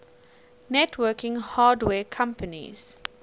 networking hardware companies